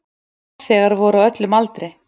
Farþegar voru á öllum aldri.